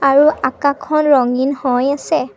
আৰু আকাশখন ৰঙীন হৈ আছে।